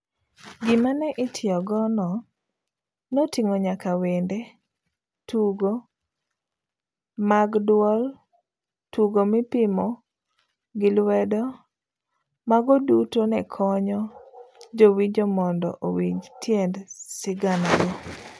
Gima ne itiyogono noting'o nyaka wende, tugo mad duol, tugo mipimo giluedo, mago duto nekonyo jowinjo mondo owinj tiend sigana goo.